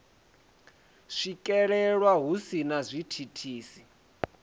swikelelwa hu si na zwithithisi